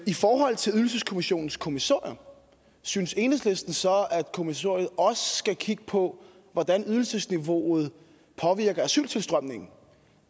i forhold til ydelseskommissionens kommissorium synes enhedslisten så at kommissionen også skal kigge på hvordan ydelsesniveauet påvirker asyltilstrømningen